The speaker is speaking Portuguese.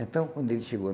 Então, quando ele chegou